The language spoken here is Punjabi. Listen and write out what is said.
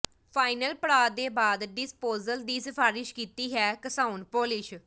ਫਾਈਨਲ ਪੜਾਅ ਦੇ ਬਾਅਦ ਡਿਸਪੋਸੇਜਲ ਦੀ ਸਿਫਾਰਸ਼ ਕੀਤੀ ਹੈ ਘਸਾਉਣ ਪਾਲਿਸ਼